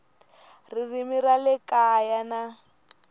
ririmi ra le kaya na